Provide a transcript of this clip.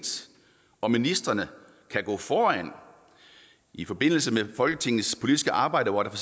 og ministrene kan gå foran i forbindelse med folketingets politiske arbejde hvor der